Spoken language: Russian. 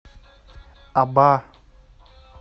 аба